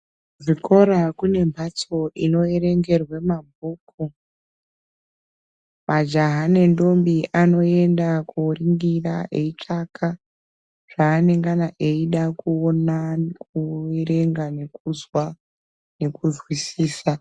Muzvikora kune mhatso inoerengerwe mabhuku majaha nendombi anoenda koningira eitsvaka zvaanengana eida kuona kuerenga nekuzwa nekuzwisisa